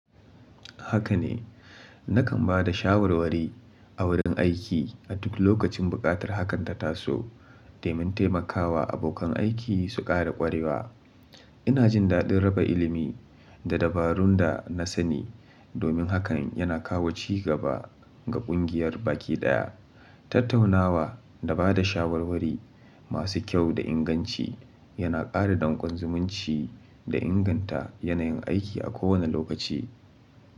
Haka ne, nakan ba da shawarwari a wurin aiki a duk lokacin buƙatar hakan ta taso domin taimakawa abokan aiki su ƙara ƙwarewa. Ina jin daɗin raba ilimi da dabarun da na sani domin hakan yana kawo ci gaba ga ƙungiyar baki ɗaya. Tattaunawa da ba da shawarwari masu kyau da inganci yana ƙara dankon zumunci da inganta yanayin aiki a kowane lokaci.